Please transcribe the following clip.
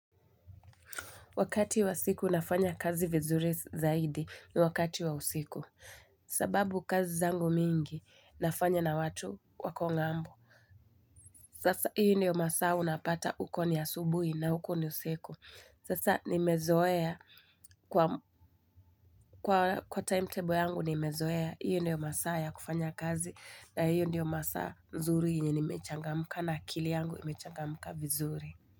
Wakati wa siku nafanya kazi vizuri zaidi ni wakati wa usiku. Sababu kazi zangu mingi, nafanya na watu wako ng'ambo. Sasa, hiyo ndio masaa unapata huko ni asubuhi na huko ni usiku. Sasa, nimezoea kwa timetable yangu, nimezoea. Hiyo ndio masaa ya kufanya kazi na hiyo ndio masaa nzuri enye nimechangamka na kili yangu imechangamka vizuri.